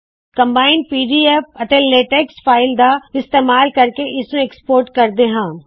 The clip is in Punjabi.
combined PDF and LaTeX file ਦਾ ਇਸਤੇਮਾਲ ਕਰਕੇ ਇਸ ਨੂੰ ਐਕਸਪੋਰਟ ਕਰਦੇ ਹਾ